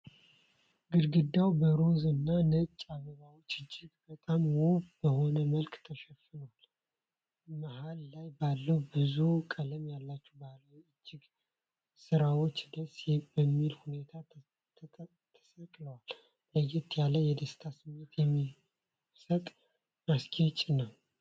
ግድግዳው በሮዝ እና ነጭ አበባዎች እጅግ በጣም ውብ በሆነ መልኩ ተሸፍኗል። መሃል ላይ ባለ ብዙ ቀለም ያላቸው ባህላዊ የእጅ ስራዎች ደስ በሚል ሁኔታ ተሰቅለዋል። ለየት ያለ የደስታ ስሜት የሚሰጥ ማስጌጫ ነው።